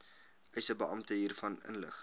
eisebeampte hiervan inlig